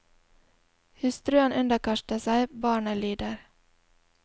Hustruen underkaster seg, barnet lyder.